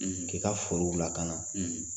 K'i ka forow lakana.